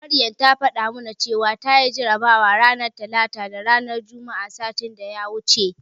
Maryam ta faɗa mana cewa tayi jarabawa ranar Talata da Juma'a satin da ya wuce.